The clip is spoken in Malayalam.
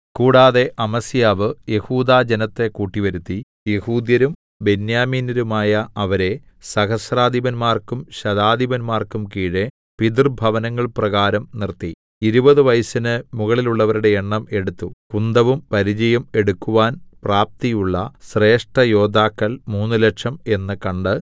കൂടാതെ അമസ്യാവ് യെഹൂദാജനത്തെ കൂട്ടിവരുത്തി യെഹൂദ്യരും ബെന്യാമീന്യരുമായ അവരെ സഹസ്രാധിപന്മാർക്കും ശതാധിപന്മാർക്കും കീഴെ പിതൃഭവനങ്ങൾ പ്രകാരം നിർത്തി ഇരുപതു വയസ്സിനു മുകളിലുള്ളവരുടെ എണ്ണം എടുത്തു കുന്തവും പരിചയും എടുക്കുവാൻ പ്രാപ്തിയുള്ള ശ്രേഷ്ഠയോദ്ധാക്കൾ മൂന്നുലക്ഷം എന്ന് കണ്ടു